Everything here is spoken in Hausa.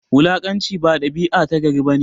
Wulakanci ba dabia ta gari bane